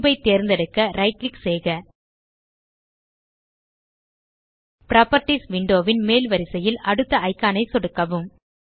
cube ஐ தேர்ந்தெடுக்க right click செய்க புராப்பர்ட்டீஸ் விண்டோ ன் மேல் வரிசையில் அடுத்த இக்கான் ஐ சொடுக்கவும்